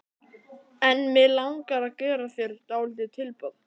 En mig langar að gera þér dálítið tilboð.